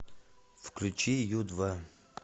включи ю два